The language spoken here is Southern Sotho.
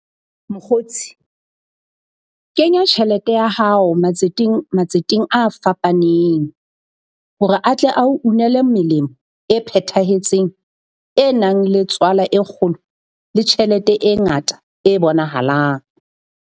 Mokgotsi kenya tjhelete ya hao matseteng, matseteng a fapaneng hore atle a o unele melemo e phethahetseng e nang le tswala e kgolo le tjhelete e ngata e bonahalang.